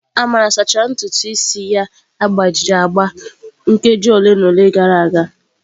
Amara sachara ntutu isi ya agbajiri agba nkeji ole na ole gara aga.